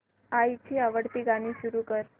आईची आवडती गाणी सुरू कर